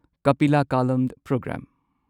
Kapila Kalam programme